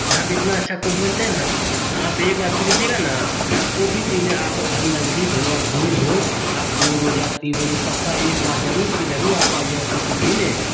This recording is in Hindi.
यहां पे इतना अच्छा कॉफी बनते हैं ना । आप एक बार पीलीजिएगा ना यहां कॉफी पीने आपका घर नजदीक हो या दूर हो आप दो रोज या तीन रोज पे पक्का एक बार जरूर से जरूर आप आइऐगा कॉफी पीने।